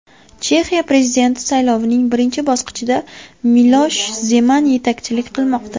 Chexiya prezidenti saylovining birinchi bosqichida Milosh Zeman yetakchilik qilmoqda.